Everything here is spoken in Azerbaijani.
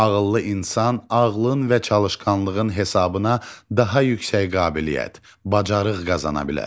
Ağıllı insan ağlın və çalışqanlığın hesabına daha yüksək qabiliyyət, bacarıq qazanır.